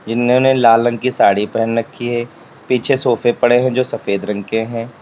इन्होंने लाल रंग की साड़ी पहन रखी है पीछे सोफे पड़े है जो सफेद रंग के हैं।